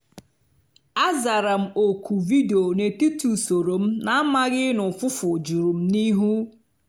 oge ọbịbịa ya na-atụghị anya ya dị mma nke ukwuu ozịgbọ m nchechara echiche.